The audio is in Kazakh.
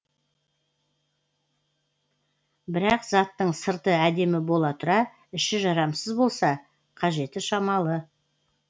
бірақ заттың сырты әдемі бола тұра іші жарамсыз болса қажеті шамалы